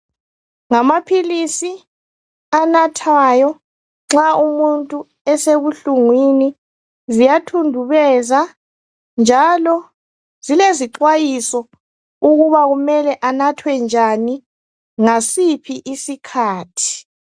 Ngamaphilisi anathwayo nxa umuntu esebuhlungwini ziyathundubeza njalo zilezixhwayiso ukuba kumele anathwe njani ngasiphi isikhathi.